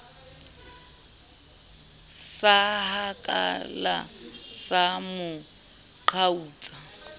sa hakala sa mo qhautsa